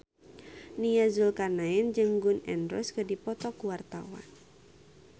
Nia Zulkarnaen jeung Gun N Roses keur dipoto ku wartawan